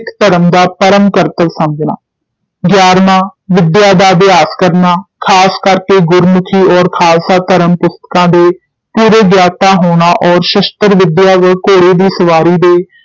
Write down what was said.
ਸਿੱਖ ਧਰਮ ਦਾ ਪਰਮ ਕਰਤੱਵ ਸਮਝਣਾ ਗਿਆਰਵਾਂ ਵਿਦਿਆ ਦਾ ਅਭਿਆਸ ਕਰਨਾ, ਖ਼ਾਸ ਕਰਕੇ ਗੁਰਮੁਖੀ ਔਰ ਖਾਲਸਾ ਧਰਮ ਪੁਸਤਕਾਂ ਦੇ ਪੂਰੇ ਗਿਆਤਾ ਹੋਣਾ ਔਰ ਸ਼ਸਤ੍ਰ-ਵਿਦਿਆ ਘੋੜੇ ਦੀ ਸਵਾਰੀ ਦੇ